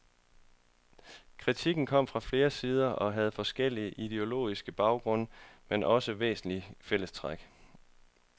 Kritikken kom fra flere sider og havde forskellig ideologisk baggrund, men også væsentlige fællestræk.